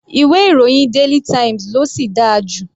Ìwé ìròyìn daily times ló sì dára jù.